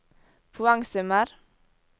poengsummer